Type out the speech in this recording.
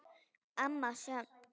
Amma Sjöfn.